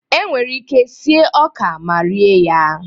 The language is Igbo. Enwere ike sie ọka ma rie ya.